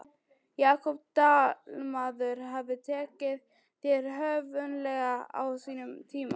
Jakob Dalmann hefur tekið þér höfðinglega á sínum tíma?